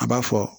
A b'a fɔ